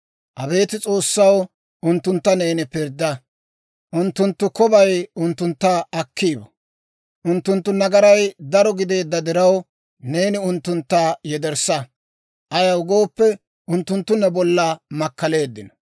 Abeet S'oossaw, unttuntta neeni pirdda; unttunttu kobay unttuntta akki bo. Unttunttu nagaray daro gideedda diraw, neeni unttuntta yederssa; ayaw gooppe, unttunttu ne bolla makkaleeddino.